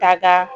Ka da